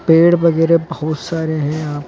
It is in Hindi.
पेड़ वगैरा बहुत सारे हैं यहां--